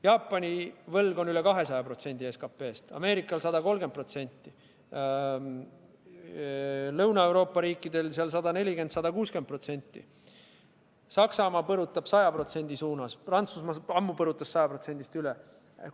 Jaapani võlg on üle 200% SKP-st, Ameerikal 130%, Lõuna-Euroopa riikidel 140–160%, Saksamaa põrutab 100% suunas, Prantsusmaa põrutas ammu 100%-st üle.